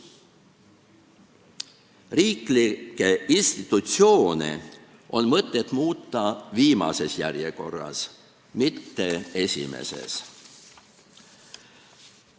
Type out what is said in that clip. Riiklikke institutsioone on mõtet muuta viimases järjekorras, mitte esimeses.